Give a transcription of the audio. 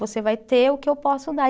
Você vai ter o que eu posso dar.